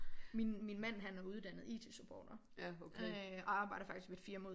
Min min man han er uddannet IT supporter og arbjeder faktisk ved et firma ude